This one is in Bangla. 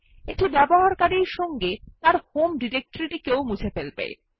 এটি ব্যবহারকারীর সঙ্গে তার হোম ডিরেক্টরি মুছে ফেলে